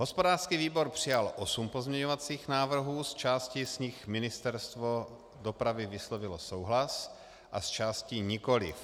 Hospodářský výbor přijal osm pozměňovacích návrhů, s částí z nich Ministerstvo dopravy vyslovilo souhlas a s částí nikoliv.